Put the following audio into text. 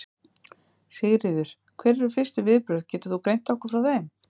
Sigríður: Hver eru fyrstu viðbrögð, getur þú greint okkur frá þeim?